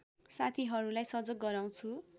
साथीहरूलाई सजग गराउँछु